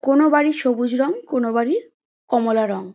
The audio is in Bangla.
কোনো বাড়ির সবুজ রং কোনো বাড়ির কমলা রং।